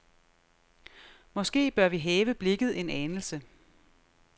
Måske bør vi hæve blikket en anelse.